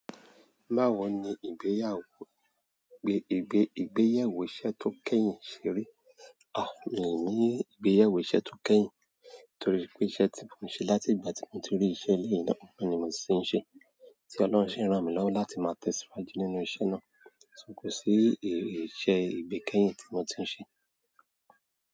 Báwo ni ìgbéyàwó, ìgbéyẹ̀wò iṣẹ́ tó kẹ́yìn ṣe rí? Mi ò ní ìgbéyẹ̀wò iṣẹ́ tó kẹ́yìn, torí pé iṣẹ́ tí mò ń ṣe láti ìgbà tí mò ń ti rí iṣẹ́ eléyìí náà, ni mò ti ń ṣe. Tí Ọlọ́run sì ń ràn mí lọ́wọ́ láti máa tẹ̀síwájú nínú iṣẹ́ náà. So, kò sí iṣẹ́ ìgbékẹ́yìn tí mo tún ṣe.